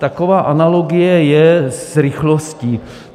Taková analogie je s rychlostí.